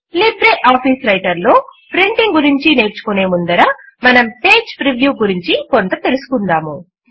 LibreOffice Writer లో printing గురించి నేర్చుకునే ముందర మనం పేజ్ ప్రివ్యూ గురించి కొంత తెలుసుకుందాము